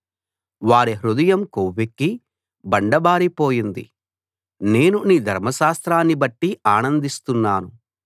వారి హృదయం కొవ్వెక్కి బండబారిపోయింది నేను నీ ధర్మశాస్త్రాన్నిబట్టి ఆనందిస్తున్నాను